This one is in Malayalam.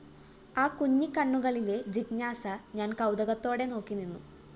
ആ കുഞ്ഞിക്കണ്ണുകളിലെ ജിജ്ഞാസ ഞാന്‍ കൗതുകത്തോടെ നോക്കിനിന്നു